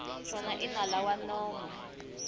xona i nala wa nomo